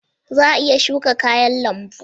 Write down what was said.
Za a iya shuka kayan lambu?